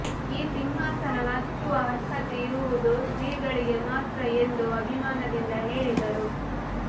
ಈ ಸಿಂಹಾಸನ ಹತ್ತುವ ಅರ್ಹತೆ ಇರುವುದು ಶ್ರೀಗಳಿಗೆ ಮಾತ್ರ ಎಂದು ಅಭಿಮಾನದಿಂದ ಹೇಳಿದರು